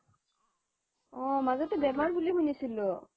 অ মাজতে বেমাৰ বুলি শুনিছিলো